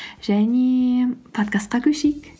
және подкастқа көшейік